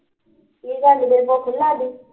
ਕੀ ਗੱਲ ਨੀ ਤੈਨੂੰ ਭੁੱਖ ਨੀ ਲੱਗਦੀ